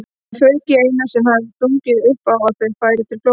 Það fauk í Einar sem hafði stungið upp á að þau færu til Flórída.